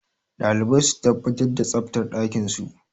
Dalibai su tabbatar da tsaftar ɗakinsu.